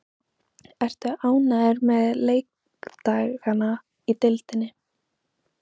Ertu ánægður með leikdagana í deildinni?